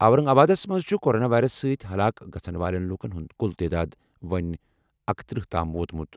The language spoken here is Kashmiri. اورنگ آبادَس منٛز چھِ کورونا وائرس سٕتۍ ہلاک گژھَن والٮ۪ن لوٗکَن ہُنٛد کُل تعداد وۄنۍ اکتٔرہ تام ووتمُت۔